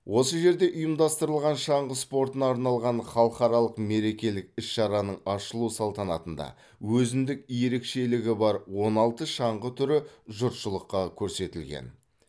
осы жерде ұйымдастырылған шаңғы спортына арналған халқаралық мерекелік іс шараның ашылу салтанатында өзіндік ерекшелгі бар он алты шаңғы түрі жұртшылыққа көрсетілген